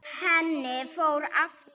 Henni fór aftur.